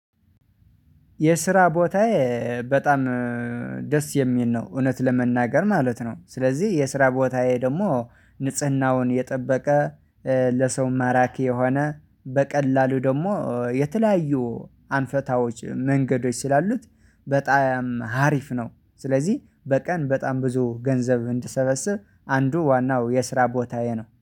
የስራ ቦታዬ በጣም ደስ የሚል ነው እውነት ለመናገር ማለት ነው። ስለዚህ የስራ ቦታዬ ደግሞ ንጽህናውን የጠበቀ ለሰው ማራኪ የሆነ በቀላሉ ደግሞ የተለያዩ አንፈታዎች መንገዶች ስላሉት በጣም አሪፍ ነው። ስለዚህ በቀን በጣም ብዙ ገንዘብ እንድሰበስብ አንዱ ዋናው የስራ ቦታዬ ነው